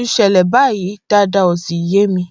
ń ṣẹlẹ báyìí dáadáa ó sì yé mi